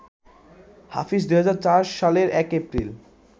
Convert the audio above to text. হাফিজ ২০০৪ সালের ১ এপ্রিল